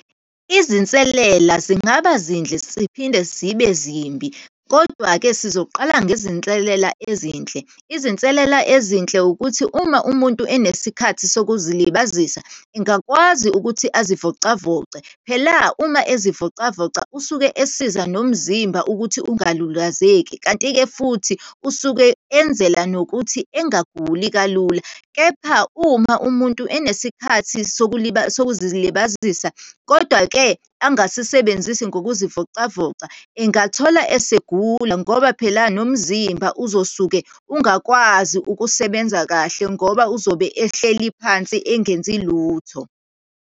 Izinselela zingaba zindle ziphinde zibe zimbi. Kodwa-ke, sizoqala ngezinselela ezinhle. Izinselela ezinhle ukuthi uma umuntu enesikhathi zokuzilibazisa engakwazi ukuthi azivocavoce. Phela uma ezivocavoca usuke esiza nomzimba ukuthi ungalulazeki, kanti-ke futhi usuke enzela nokuthi engaguli kalula. Kepha uma umuntu enesikhathi sokuzilibazisa, kodwa-ke angasisebenzisi ngokuzivocavoca, engathola esegula, ngoba phela nomzimba uzosuke ungakwazi ukusebenza kahle, ngoba uzobe ehleli phansi engenzi lutho.